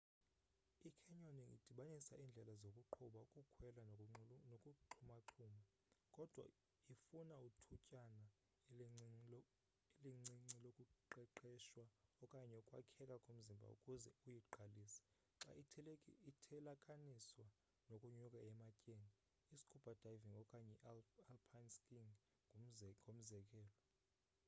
i-canyoning idibanisa indlela zokuqubha ukukhwela nokuxhumaxhuma—kodwa ifuna ithutyana elincinci lokuqeqeshwa okanye ukwakheka komzimba ukuze uyiqalise xa ithelekaniswa nokunyuka ematyeni i-scuba diving okanye i-alpine skiing ngomzekelo